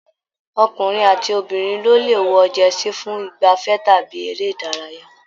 Ọkùnrin àti obìnrin ló lè wọ jẹsí fún igbafẹ̀ tàbí eré ìdárayá